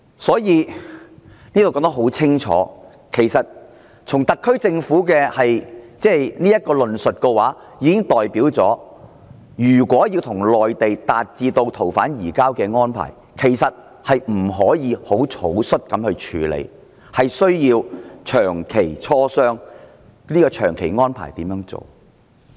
"這裏說得很清楚，特區政府的論述已經表明，如果要與內地達成逃犯移交的安排，不可以草率處理，需要長期磋商、安排怎樣做。